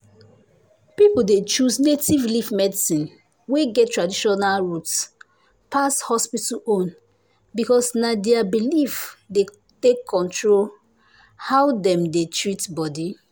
people dey choose native leaf medicine wey get traditional root pass hospital own because na their belief dey control how dem dey treat body.